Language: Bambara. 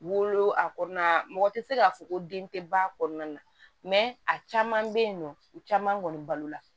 Wolo a kɔnɔna mɔgɔ te se ka fɔ ko den te ba kɔnɔna na a caman bɛ yen nɔ u caman kɔni balo la